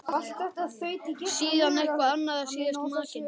Síðan eitthvað annað og síðast makinn.